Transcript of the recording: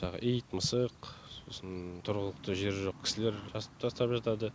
жаңағы ит мысық сосын тұрғылықты жері жоқ кісілер тастап жатады